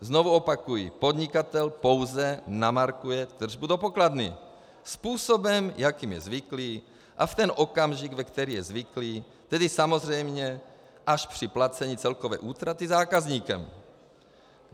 Znovu opakuji: podnikatel pouze namarkuje tržbu do pokladny způsobem, jakým je zvyklý, a v ten okamžik, ve který je zvyklý, tedy samozřejmě až při placení celkové útraty zákazníkem.